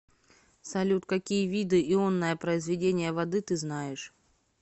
салют какие виды ионное произведение воды ты знаешь